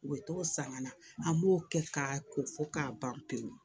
U bɛ t'o san ka na an b'o kɛ k'a ko fɔ k'a ban pewu